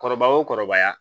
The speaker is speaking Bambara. Kɔrɔba o kɔrɔbaya